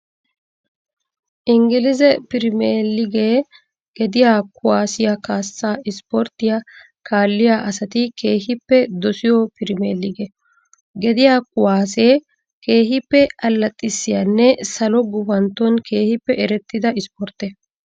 Ingilize pirimeligee gediyaa kuwaasiyaa kaassaa ispporttiyaa kaalliya asati keehippe dosiyo pirimelige. Gediyaa kuwaasee keehippe allaxxissiyaanne salo gufantton keehippe erettida ispportte .